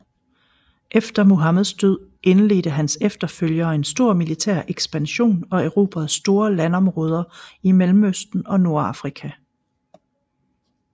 Efter Muhammeds død indledte hans efterfølgere en stor militær ekspansion og erobrede store landområder i Mellemøsten og Nordafrika